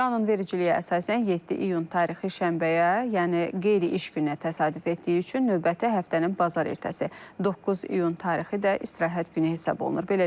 Qanunvericiliyə əsasən 7 iyun tarixi şənbəyə, yəni qeyri-iş gününə təsadüf etdiyi üçün növbəti həftənin bazar ertəsi 9 iyun tarixi də istirahət günü hesab olunur.